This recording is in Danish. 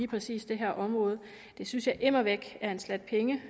præcis det her område det synes jeg immer væk er en sjat penge